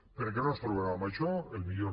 perquè no ens trobem amb això el millor